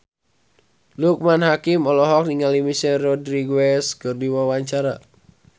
Loekman Hakim olohok ningali Michelle Rodriguez keur diwawancara